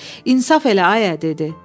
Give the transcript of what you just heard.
İnsaf elə ayə dedi.